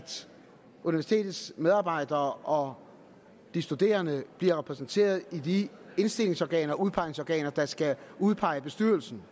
universitetets medarbejdere og studerende bliver repræsenteret i de indstillingsorganer og udpegningsorganer der skal udpege bestyrelserne